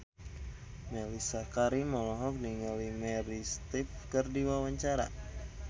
Mellisa Karim olohok ningali Meryl Streep keur diwawancara